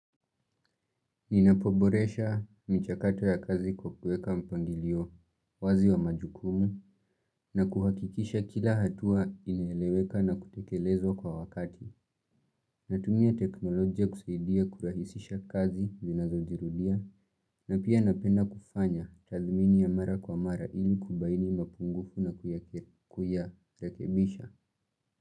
Ninapoboresha michakato ya kazi kwa kukueka mpangilio wazi wa majukumu na kuhakikisha kila hatua ineleweka na kutekelezwa kwa wakati Natumia teknolojia kusaidia kurahisisha kazi zinazo jirudia na pia napenda kufanya tathumini ya mara kwa mara ili kubaini mapungufu na kuya kuyarekebisha.